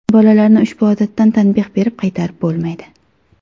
Bolalarni ushbu odatdan tanbeh berib qaytarib bo‘lmaydi.